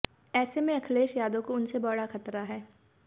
ऐसे में अखिलेश यादव को उनसे बड़ा खतरा है